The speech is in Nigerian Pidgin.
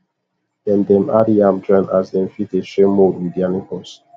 dem dem add yam join as dem fit dey share mould with their neighbours